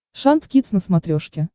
шант кидс на смотрешке